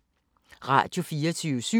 Radio24syv